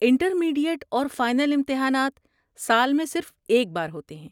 Intermediate اور final امتحانات سال میں صرف ایک بار ہوتے ہیں۔